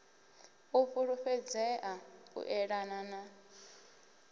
u fhulufhedzea u eḓana u